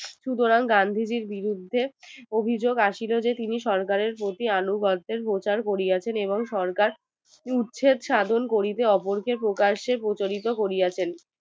সুতরাং গান্ধীজির বিরুদ্ধে অভিযোগ আসিল যে তিনি সরকারের প্রতি অনুগাদের প্রকার করিয়াছেন এবং সরকার উচ্ছেদসাধন করিতে ওপর কে প্রকাশে প্রতারিত করিয়াছে